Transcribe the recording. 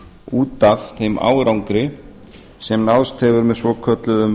út af þeim árangri sem náðst hefur með svokölluðum